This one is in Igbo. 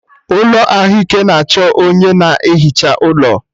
Ụlọ ahụike na achọ onye na ehicha ụlọ